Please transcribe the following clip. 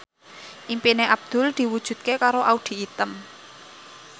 impine Abdul diwujudke karo Audy Item